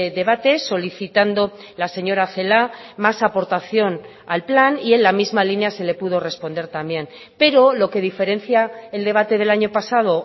debate solicitando la señora celaá más aportación al plan y en la misma línea se le pudo responder también pero lo que diferencia el debate del año pasado